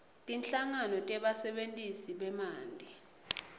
tinhlangano tebasebentisi bemanti